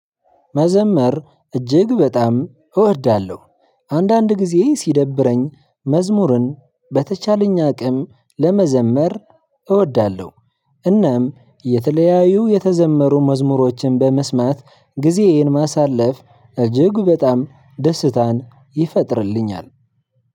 መዘመር እጅግ በጣም እወዳለሁ። አንዳንድ ጊዜ ሲደብረኝ መዝሙርን በተቻለኝ አቅም ለመዘመር እወዳለሁ። እናም የተለያዩ የተዘመሩ መዝሙሮችን በመስማት ጊዜዬን ማሳለፍ እጅግ በጣም ደስታን ይፈጥርልኛል።